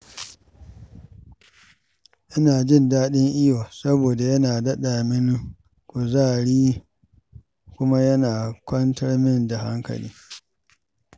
Ina jin daɗin iyo saboda yana daɗa mini kuzari kuma yana kwantar min da hankali.